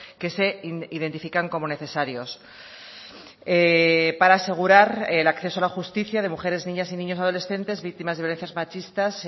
que se identifican como necesarios para asegurar el acceso a la justicia de mujeres niñas y niños adolescentes víctimas de violencias machistas